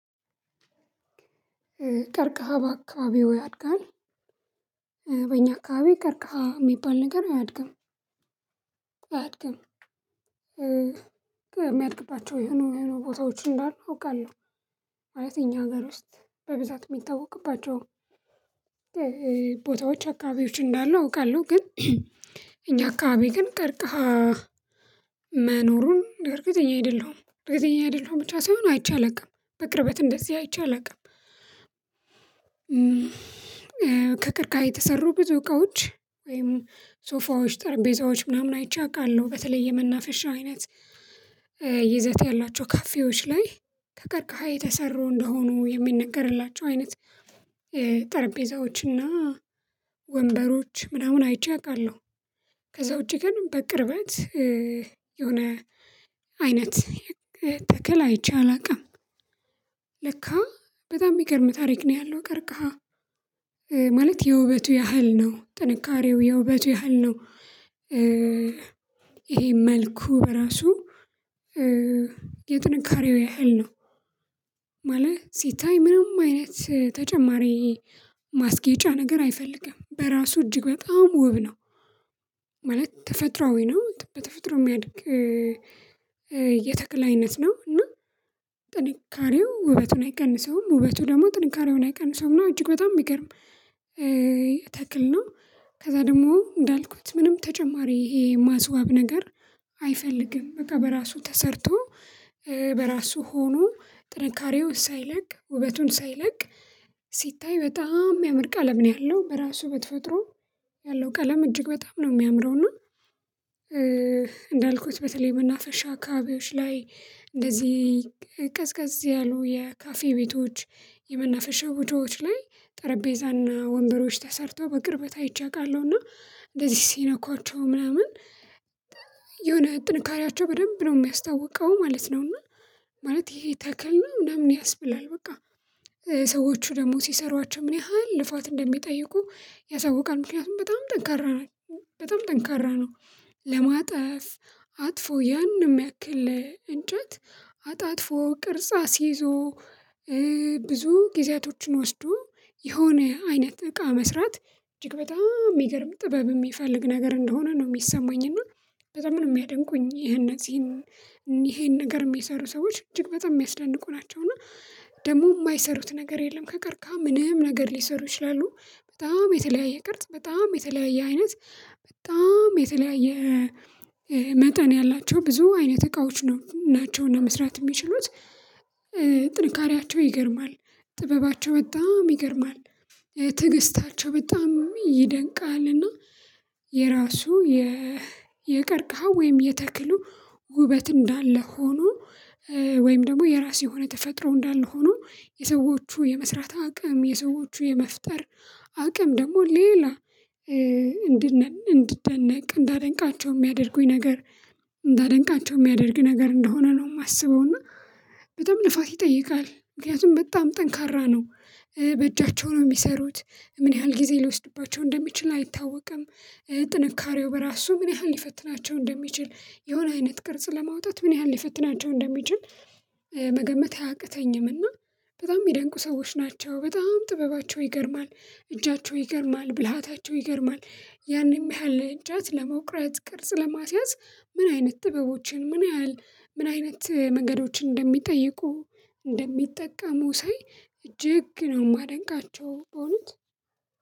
ቀርቀሃ በአካባቢው ያድጋል። በእኛ አካባቢ ቀርቃሃ የሚባል ነገር አያድግም። አያድግም የሚያድግባቸው የሆኑ ቦታዎች እንዳልኩ አውቃለሁ። ማለት እኛ ሀገር ውስጥ በብዛት የሚታወቅባቸው ቦታዎች አካባቢዎች እንዳሉ አውቃለሁ። ግን እኛ አካባቢ ግን ቀርቀሃ መኖሩን እርግጠኛ አይደለሁም እርግጠኛ አይደለሁም ብቻ ሳይሆን አይቼ አላውቅም በቅርበት እንደዚህ አይቼ አላውቅም። ከቀርቃሪ የተሰሩ ብዙ እቃዎች ወይም ሶፋዎች ጠርቤዛዎች ምናምን አይቼ አውቃለሁ። በተለይ የመናፈሻ አይነት ይዘት ያላቸው ካፌዎች ላይ ከቀርቀሃ የተሰሩ እንደሆኑ የሚነገርላቸው አይነት ጠረጴዛዎችና ወንበሮች ምናምን አይቼ አውቃለሁ። ከዛ ውጪ ግን በቅርበት የሆነ አይነት ተከል አይቼ አላውቅም። ለካ በጣም የሚገርም ታሪክ ነው ያለው ቀርቀሃ ማለት የውበቱ ያህል ነው ጥንካሬው የውበቱ ያህል ነው። ይሄ መልኩ በራሱ የጥንካሬው ያህል ነው። ማለት ሲታይ ምንም አይነት ተጨማሪ ማስገጫ ነገር አይፈልግም በራሱ እጅግ በጣም ውብ ነው። ማለት ተፈጥሮአዊ ነው በተፈጥሮ የሚያድግ የተክለ አይነት ነው። እና ጥንካሬው ውበቱን አይቀንሰውም ውበቱ ደግሞ ጥንካሬውን አይቀንሰውም እጅግ በጣም የሚገርም ተክል ነው። ከዛ ደግሞ እንዳልኩት ምንም ተጨማሪ ይሄ ማስዋብ ነገር አይፈልግም በቃ በራሱ ተሰርቶ በራሱ ሆኖ ጥንካሬው ሳይለቅ ውበቱን ሳይለቅ ሲታይ በጣም የምርቃ ለምን ያለው በራሱ በተፈጥሮ ያለው ቀለም እጅግ በጣም ነው የሚያምረው። እና እንዳልኩት በተለይ መናፈሻ ካቢዎች ላይ እንደዚህ ቀዝቃዝ ያሉ የካፌ ቤቶች የመናፈሻ ወጆች ላይ ጠረጴዛና ወንበሮች ተሰርተው በቅርበት አይቼ አውቃለሁ እና እንደዚህ ሲነኳቸው ምናምን የሆነ ጥንካሬያቸው በደንብ ነው የሚያስታውቀው ማለት ነው። እና ማለት ይሄ ተክል ነው ምናምን ያስበላል በቃ ሰዎቹ ደግሞ ሲሰሯቸው ምን ያህል ልፋት እንደሚጠይቁ ያሳውቃል ምክንያቱም በጣም ጠንካራ ነው በጣም ጠንካራ ነው። ለማጥፍ አጥፎ ያንንም ያክል እንጨት አጣጥፎ ቅርጽ ይዞ ብዙ ጊዜያቶችን ወስዶ የሆነ አይነት እቃ መስራት እጅግ በጣም የሚገርም ጥበብ የሚፈልግ ነገር እንደሆነ ነው የሚሰማኝ። እና በጣም ነው የሚያደንቁኝ ይሄ እነዚህን ይሄን ነገር የሚሰሩ ሰዎች እጅግ በጣም የሚያስደንቁ ናቸው። እና ደግሞ የማይሰሩት ነገር የለም ከቀርካ ምንም ነገር ሊሰሩ ይችላሉ። በጣም የተለያየ ቅርጽ በጣም የተለያየ አይነት በጣም የተለያየ መጠን ያላቸው ብዙ አይነት እቃዎች ናቸውና መስራት የሚችሉት ጥንካሬያቸው ይገርማል። ጥበባቸው በጣም ይገርማል ትግስታቸው በጣም ይደንቃልና። የራሱ የቀርቅሃው ወይም የተክሉ ውበት እንዳለ ሆኖ ወይም ደግሞ የራሴ የሆነ ተፈጥሮ እንዳልሆኑ የሰዎቹ የመስራት አቅም የሰዎቹ የመፍጠር አቅም ደግሞ ሌላ እንድንነቅ እንዳደንቃቸው የሚያደርጉኝ ነገር እንዳደንቃቸው የሚያደርግ ነገር እንደሆነ ነው። የማስበው እና በጣም ልፋት ይጠይቃል ምክንያቱም በጣም ጠንካራ ነው በእጃቸው ነው የሚሰሩት ምን ያህል ጊዜ ልወስድባቸው እንደሚችል አይታወቅም። ጥንካሬው በራሱ ምን ያህል ሊፈትናቸው እንደሚችል የሆነ አይነት ቅርጽ ለማውጣት ምን ያህል ሊፈትናቸው እንደሚችል መገመት አያቅተኝም። እና በጣም የሚደንቁ ሰዎች ናቸው በጣም ጥበባቸው ይገርማል እጃቸው ይገርማል ብልሃታቸው ይገርማል ያንን ያህል እጃት ለመውቅራት ቅርጽ ለማስያዝ ምን አይነት ጥበቦችን ምን ያህል ምን አይነት መንገዶችን እንደሚጠይቁ እንደሚጠቃሙ ሳይ እጅግ ነው የማደንቃቸው። እውነት።